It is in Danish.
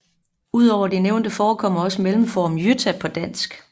Ud over de nævnte forekommer også mellemformen Jytta på dansk